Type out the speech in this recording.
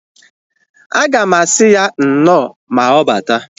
Aga m asị ya nnọọ ma ọbata